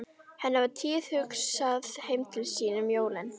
Henni var tíðhugsað heim til Íslands um jólin.